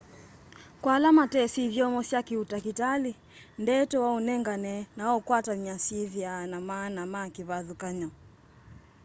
kwa ala matesĩ ithyomo sya kĩ ũtakĩtalĩ ndeto waũnengane na waũkwatany'a syĩthĩaa na maana me kĩvathũkany'o